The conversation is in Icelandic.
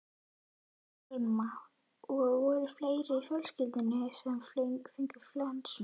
Telma: Og voru fleiri í fjölskyldunni sem fengu flensuna?